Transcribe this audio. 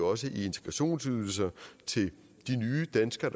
også i integrationsydelsen til de nye danskere